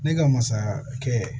Ne ka masaya kɛ